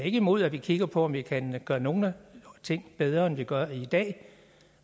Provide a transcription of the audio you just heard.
er ikke imod at vi kigger på om vi kan gøre nogle ting bedre end vi gør dem i dag